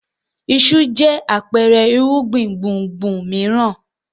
Iṣu jẹ́ àpẹẹrẹ irúgbìn gbùngbùn mìíràn.